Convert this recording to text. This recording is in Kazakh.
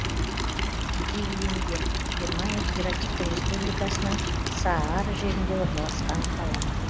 диллинген германия федеративтік республикасының саар жерінде орналасқан қала